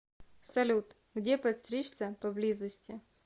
салют где подстричься поблизости